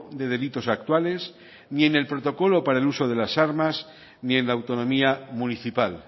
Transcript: de delitos actuales ni en el protocolo para el uso de las armas ni en la autonomía municipal